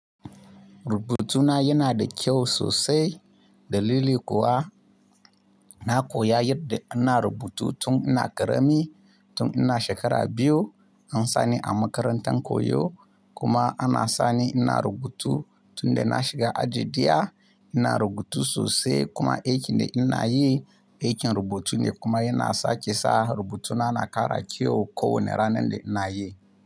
Rubutuna yana da kyau sosai. Dalili kuwa na koya yadda ana rubutu tun ina ƙarami, tun ina shekara biyu an sa ni a makarantar koyo kuma ana sa ni ina rubutu tun da na shiga aji ɗaya. Ina rubutu sosai kuma aikin da ina yi aikin rubutu ne kuma yana sake sa rubutuna na kara kyau ko wane ranar da ina yi.